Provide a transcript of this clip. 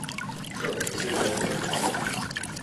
шерлок серия одиннадцать